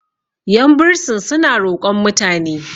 yan bursin suna roƙon mutane